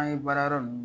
An ye baara yɔrɔ ninnu